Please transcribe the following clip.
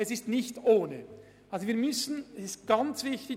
Es ist nicht ganz unproblematisch.